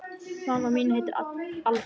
Mamma mín heitir Alda.